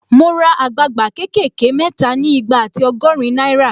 Mo ra àgbagba ké kè ké mẹ́ta ni igba ati ọgọ́rin náírà